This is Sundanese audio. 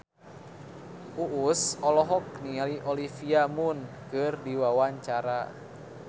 Uus olohok ningali Olivia Munn keur diwawancara